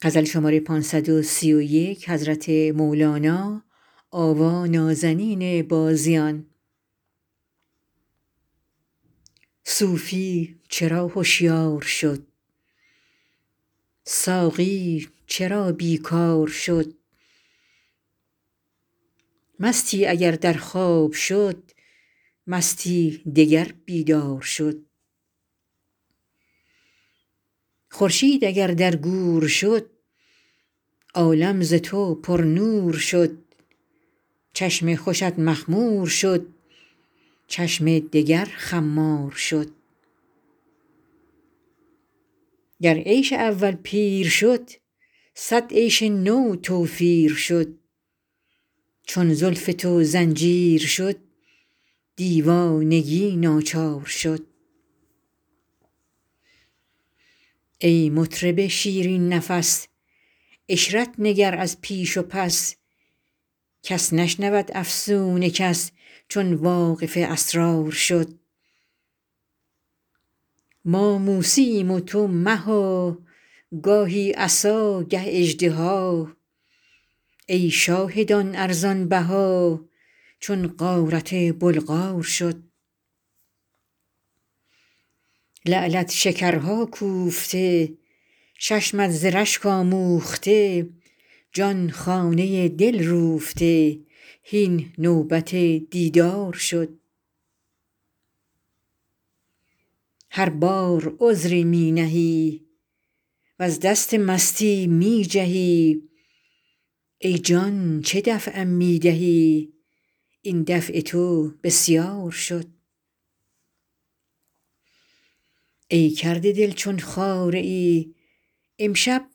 صوفی چرا هشیار شد ساقی چرا بیکار شد مستی اگر در خواب شد مستی دگر بیدار شد خورشید اگر در گور شد عالم ز تو پرنور شد چشم خوشت مخمور شد چشم دگر خمار شد گر عیش اول پیر شد صد عیش نو توفیر شد چون زلف تو زنجیر شد دیوانگی ناچار شد ای مطرب شیرین نفس عشرت نگر از پیش و پس کس نشنود افسون کس چون واقف اسرار شد ما موسییم و تو مها گاهی عصا گه اژدها ای شاهدان ارزان بها چون غارت بلغار شد لعلت شکرها کوفته چشمت ز رشک آموخته جان خانه دل روفته هین نوبت دیدار شد هر بار عذری می نهی وز دست مستی می جهی ای جان چه دفعم می دهی این دفع تو بسیار شد ای کرده دل چون خاره ای امشب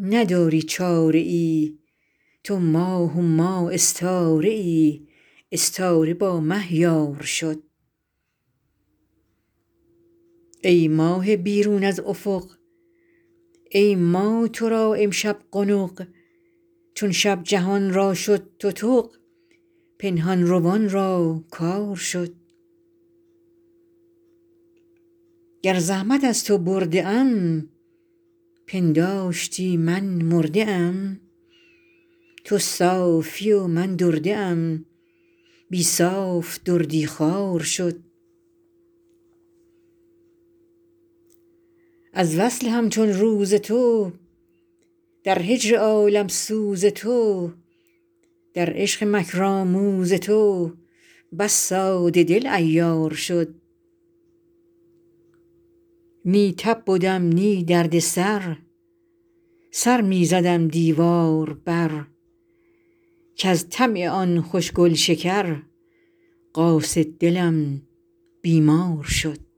نداری چاره ای تو ماه و ما استاره ای استاره با مه یار شد ای ماه بیرون از افق ای ما تو را امشب قنق چون شب جهان را شد تتق پنهان روان را کار شد گر زحمت از تو برده ام پنداشتی من مرده ام تو صافی و من درده ام بی صاف دردی خوار شد از وصل همچون روز تو در هجر عالم سوز تو در عشق مکرآموز تو بس ساده دل عیار شد نی تب بدم نی درد سر سر می زدم دیوار بر کز طمع آن خوش گل شکر قاصد دلم بیمار شد